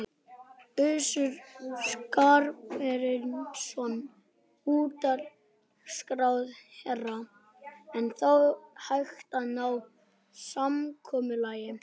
Össur Skarphéðinsson, utanríkisráðherra: Er þá hægt að ná samkomulagi?